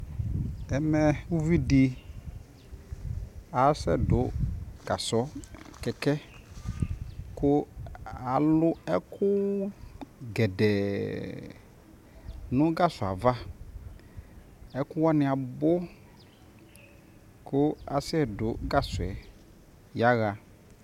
ɛmɛʋvi di asɛ dʋ gasɔ, kɛkɛɛ kʋ alʋ ɛkʋ gɛdɛɛ nʋ gasɔɛ aɣa, ɛkʋ wani abʋ kʋasɛ dʋ gasɔɛ yaha